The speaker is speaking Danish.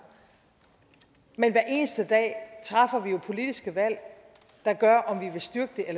men hver eneste dag træffer vi jo politiske valg der gør